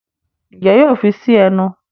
Njé yóò fí sí ẹnu?